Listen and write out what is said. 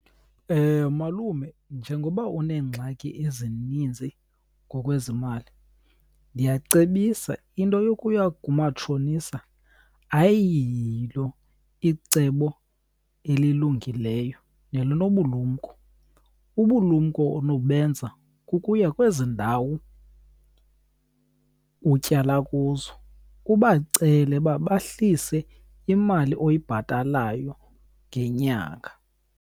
Malume, njengoba uneengxaki ezininzi ngokwezimali ndiyacebisa into yokuya kumatshonisa ayiyilo icebo elilungileyo nelinobulumko. Ubukumko onobenza kukuya kwezi ndawo utyala kuzo ubacele uba bahlise imali oyibhatalayo ngenyanga.